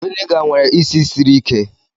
Viniga nwere isi siri ike